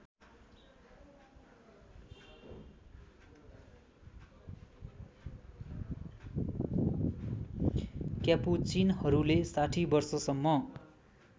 क्यापुचिनहरूले ६० वर्षसम्म